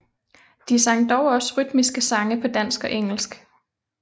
De sang dog også rytmiske sange på dansk og engelsk